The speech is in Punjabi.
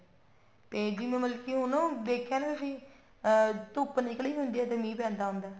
ਤੇ ਜਿਵੇਂ ਮਤਲਬ ਕੀ ਉਹਨੂੰ ਦੇਖਿਆ ਨਾ ਤੁਸੀਂ ਅਮ ਧੁੱਪ ਨਿਕਲੀ ਹੁੰਦੀ ਆ ਤੇ ਮੀਂਹ ਪੈਂਦਾ ਹੁੰਦਾ